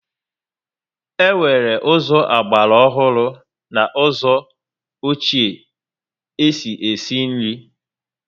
E nwere ụzọ ogbara ọhụrụ na ụzọ ọchie e si esi nri